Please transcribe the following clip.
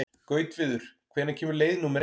Gautviður, hvenær kemur leið númer eitt?